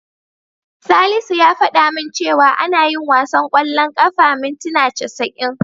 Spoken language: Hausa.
Salisu ya fada min cewa ana yin wasan ƙwallon ƙafa mintina casa'in.